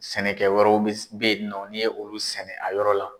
Sɛnɛkɛ wɛrɛ be yen nɔ , ni ye olu sɛnɛ a yɔrɔ la